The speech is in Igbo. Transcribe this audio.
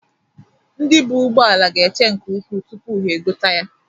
Ndị buu ugboala ga-eche nke ukwu tụpụ ha egote ya.